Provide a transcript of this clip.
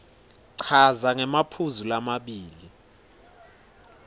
chaza ngemaphuzu lamabili